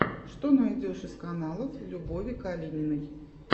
что найдешь из каналов любови калининой